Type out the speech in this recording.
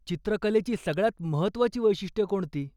चित्रकलेची सगळ्यांत महत्त्वाची वैशिष्ट्यं कोणती?